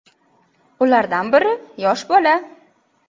Ulardan biri yosh bola.